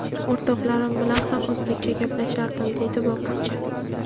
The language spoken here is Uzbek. O‘rtoqlarim bilan ham o‘zbekcha gaplashardim”, deydi bokschi.